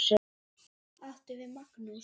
Það átti við Magnús.